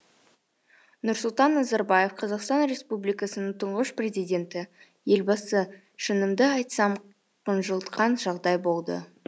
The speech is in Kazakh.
нұрсұлтан назарбаев қазақстан республикасының тұңғыш президенті елбасы шынымды айтсам қынжылтқан жағдай болды